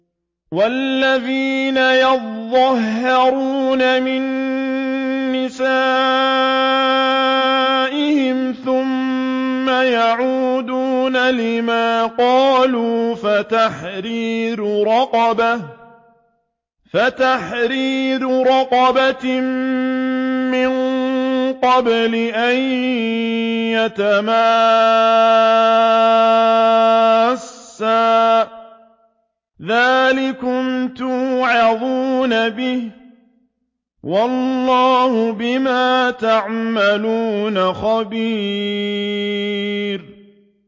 وَالَّذِينَ يُظَاهِرُونَ مِن نِّسَائِهِمْ ثُمَّ يَعُودُونَ لِمَا قَالُوا فَتَحْرِيرُ رَقَبَةٍ مِّن قَبْلِ أَن يَتَمَاسَّا ۚ ذَٰلِكُمْ تُوعَظُونَ بِهِ ۚ وَاللَّهُ بِمَا تَعْمَلُونَ خَبِيرٌ